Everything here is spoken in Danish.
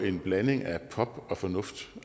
en blanding af pop og fornuft